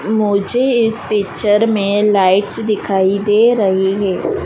मुझे इस पिक्चर में लाइट्स दिखाई दे रही है।